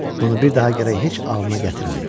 Bunu bir daha gərək heç anlına gətirmə.